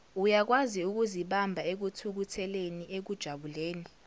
uyakwaziukuzibamba ekuthukutheleni ekujabuleni